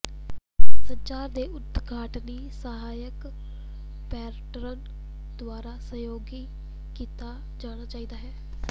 ਸੰਚਾਰ ਦੇ ਉਦਘਾਟਨੀ ਸਹਾਇਕ ਪੈਟਰਨ ਦੁਆਰਾ ਸਹਿਯੋਗੀ ਕੀਤਾ ਜਾਣਾ ਚਾਹੀਦਾ ਹੈ